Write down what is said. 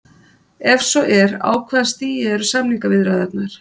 Ef svo er á hvaða stigi eru samningaviðræðurnar?